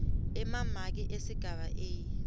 emamaki esigaba a